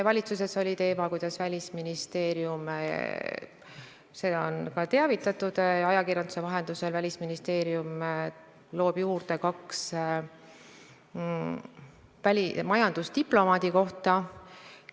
Valitsuses oli teemaks see, kuidas Välisministeerium – sellest on ka ajakirjanduse vahendusel teavitatud – loob juurde kaks majandusdiplomaadi kohta.